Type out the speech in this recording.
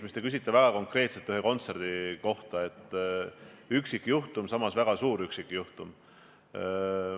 Te küsite väga konkreetselt ühe kontserdi kohta – see üksikjuhtum, samas väga suur üksikjuhtum.